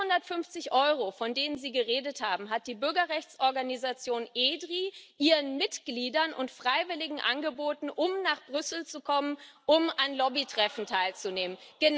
Die 450 Euro, von denen Sie geredet haben, hat die Bürgerrechtsorganisation EDRi ihren Mitgliedern und Freiwilligen angeboten, um nach Brüssel zu kommen, um an Lobbytreffen teilzunehmen.